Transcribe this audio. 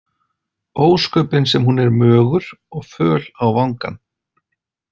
Ósköpin sem hún er mögur og föl á vangann.